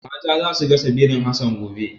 Mata za su gasa birin Hassan gobe.